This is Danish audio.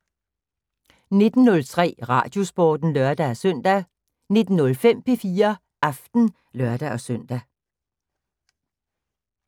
19:03: Radiosporten (lør-søn) 19:05: P4 Aften (lør-søn)